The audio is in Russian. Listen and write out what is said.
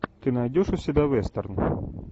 ты найдешь у себя вестерн